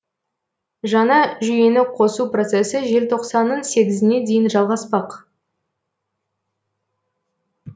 жаңа жүйені қосу процесі желтоқсанның сегізіне дейін жалғаспақ